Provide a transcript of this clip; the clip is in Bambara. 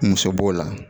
Muso b'o la